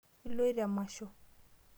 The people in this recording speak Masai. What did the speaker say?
Iloito emasho?